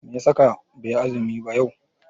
Meya saka baiyi azumi ba yau?